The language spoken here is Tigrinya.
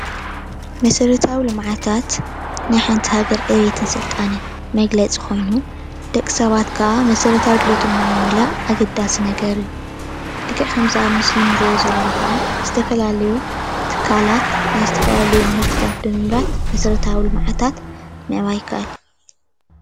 መሰራተዊ ልምዓታት ናይ ሓንቲ ሃገር ዕቤትን ስልጣነን መግለፂ ኮይኑ ደቂ ሰባት ከዓ መሰረታዊ ድልየቶም ንምምላእ ኣገዳሲ ነገር እዩ፡፡ ልክዕ ኣብ እዚ ምስሊ እንሪኦ ዘለና ከዓ ዝተፈላለዩ ትካላት ናይ ዝተፈላለዩ ምህርትታት ብምምራት ናት ዝተፈላለዩ መሰራተዊ ልምዓታት ምዕባይ ይካኣል፡፡